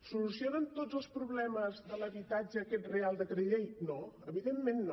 soluciona tots els problemes de l’habitatge aquest reial decret llei no evidentment no